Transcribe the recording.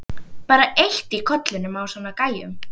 Bara eitt í kollinum á svona gæjum.